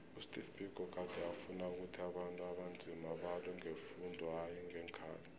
usteve biko gade afuna ukhuthi abantu abanzima balwe ngefundo hayi ngeenkhali